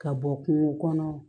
Ka bɔ kungo kɔnɔ